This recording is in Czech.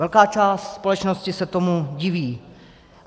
Velká část společnosti se tomu diví.